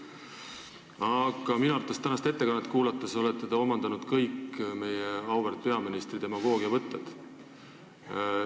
Aga tänast ettekannet kuulates hakkasin ma arvama, et te olete omandanud kõik meie auväärt peaministri demagoogiavõtted.